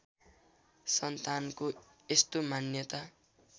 सन्तानको यस्तो मान्यता